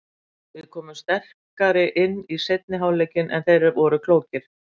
Við komum sterkari inn í seinni hálfleikinn en þeir voru klókir.